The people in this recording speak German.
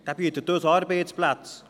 Er bietet uns Arbeitsplätze.